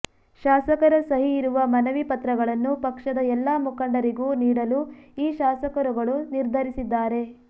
ಶಾಸಕರ ಸಹಿ ಇರುವ ಮನವಿ ಪತ್ರಗಳನ್ನು ಪಕ್ಷದ ಎಲ್ಲಾ ಮುಖಂಡರಿಗೂ ನೀಡಲು ಈ ಶಾಸಕರುಗಳು ನಿರ್ಧರಿಸಿದ್ದಾರೆ